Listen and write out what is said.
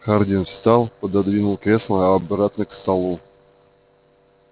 хардин встал пододвинув кресло обратно к столу